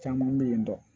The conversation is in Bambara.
Caman bɛ yen nɔ